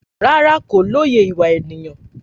Rárá, kò lóye ìwà ènìyàn